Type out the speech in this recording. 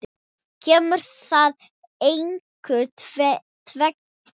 Kemur þar einkum tvennt til.